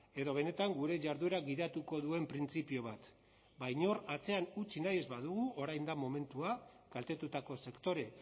edo benetan gure jarduera gidatuko duen printzipio bat ba inor atzean utzi nahi ez badugu orain da momentua kaltetutako sektore